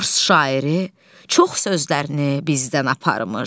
Fars şairi çox sözlərini bizdən aparmış.